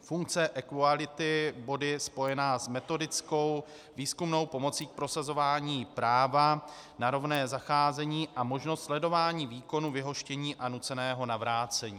funkce equality body spojená s metodickou výzkumnou pomocí k prosazování práva na rovné zacházení a možnost sledování výkonu vyhoštění a nuceného navrácení.